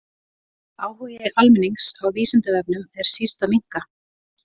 Áhugi almennings á Vísindavefnum er síst að minnka.